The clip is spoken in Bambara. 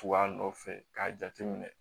Tuba nɔfɛ k'a jateminɛ